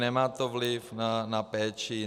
Nemá to vliv na péči.